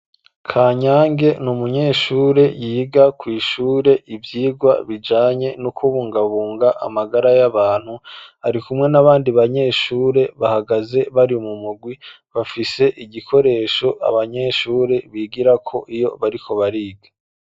Kanyange n’umunyeshure yiga kw'ishure ivyigwa bijanye no kubungabunga amagara y'abantu, ari kumwe n'abandi banyeshure bahagaze bari mu mugwi bafise igikoresho abanyeshure bigirako iyo bariko bariga.